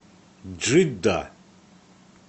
джидда